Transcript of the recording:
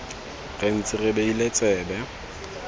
re ntse re beile tsebe